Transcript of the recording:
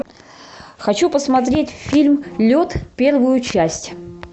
хочу посмотреть фильм лед первую часть